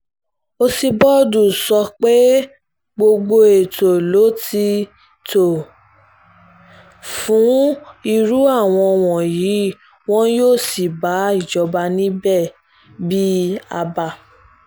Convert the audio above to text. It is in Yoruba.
ọsibọ́dù sọ pé gbogbo ètò ló ti tó fún irú àwọn wọ̀nyí wọn yóò sì bá ìjọba níbẹ̀ bíi àbá